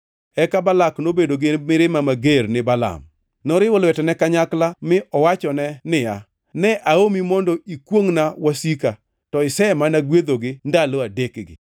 Eka Balak nobedo gi mirima mager gi Balaam. Noriwo lwetene kanyakla mi owachone niya, “Ne aomi mondo ikwongʼna wasika, to isemana gwedhogi ndalo adekgi.